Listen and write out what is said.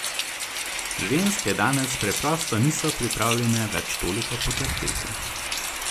Ženske danes preprosto niso pripravljene več toliko potrpeti.